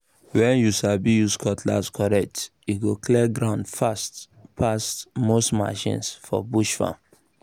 when you sabi use cutlass correct e go clear ground fast pass most machine for bush farm